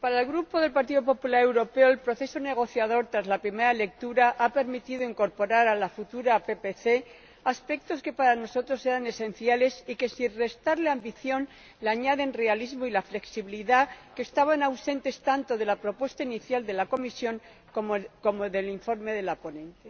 para el Grupo del Partido Popular Europeo el proceso negociador tras la primera lectura ha permitido incorporar a la futura PPC aspectos que para nosotros eran esenciales y que, sin restarle ambición, le añaden realismo y la flexibilidad que estaban ausentes tanto de la propuesta inicial de la Comisión como del informe de la ponente.